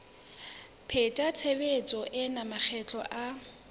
pheta tshebetso ena makgetlo a